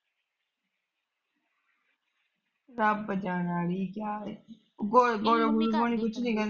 ਰੱਬ ਜਾਣੇ ਅੜੀਏ ਕਿਆ ਏ।